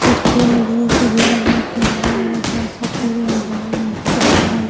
खिड़कियाँ अंधेरो से कुर्सीया।